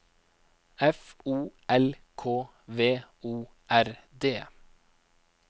F O L K V O R D